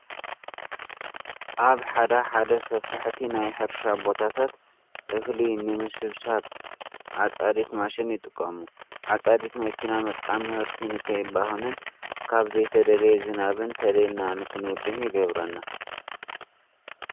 ኣብ ሓደ ሓደ ሰፋሕቲ ናይ ሕርሻ ቦታታት እኽሊ ንምስብሳብ ዓፃዲት ማሽን ይጥቀሙ። ዓፃዲት መኪና ምጥቃም ምህርቲ ንከይባኽንን ካብ ዘይተደለየ ዝናብ ተለይልና ንክንውድእ ይገብረና።